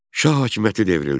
Şah hakimiyyəti devrildi.